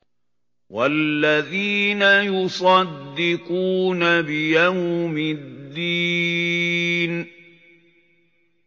وَالَّذِينَ يُصَدِّقُونَ بِيَوْمِ الدِّينِ